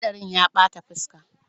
Hadarin ya bata fuska.